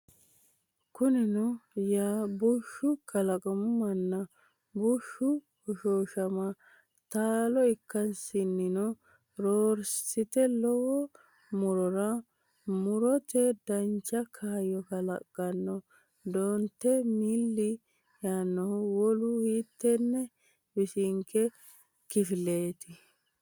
Kunino yaa bushshu kalaqa manna bushshu hoshooshama taalo ikkansannino roorsite lowo mu’rora mu’rate dancha kaayyo kalaqqanno, dotenni milli yaannohu wolu hiittenne bisinke kifileeti?